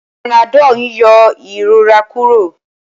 Panadol n yọ ìrora Kúrò